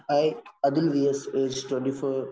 E Athul വി സ്‌ ഐഎസ്‌ 24